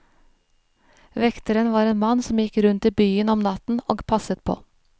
Vekteren var en mann som gikk rundt i byen om natten og passet på.